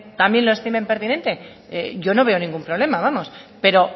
también lo estimen pertinente yo no veo ningún problema vamos pero